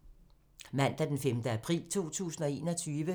Mandag d. 5. april 2021